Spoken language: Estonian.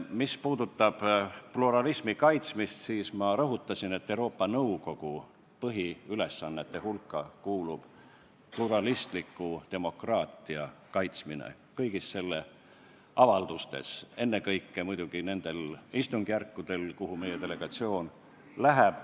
Mis puudutab pluralismi kaitsmist, siis ma rõhutasin, et Euroopa Nõukogu põhiülesannete hulka kuulub pluralistliku demokraatia kaitsmine kõigis selle avaldustes, ennekõike muidugi nendel istungjärkudel, kuhu meie delegatsioon läheb.